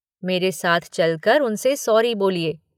मेरे साथ चलकर उनसे सॉरी बोलिए।